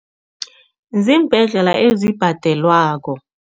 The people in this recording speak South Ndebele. Ziimbhedlela ezibhadelwako.